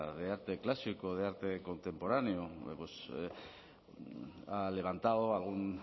de arte clásico de arte contemporáneo pues ha levantado algún